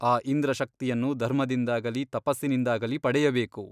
ಆ ಇಂದ್ರಶಕ್ತಿಯನ್ನು ಧರ್ಮದಿಂದಾಗಲಿ ತಪಸ್ಸಿನಿಂದಾಗಲಿ ಪಡೆಯಬೇಕು.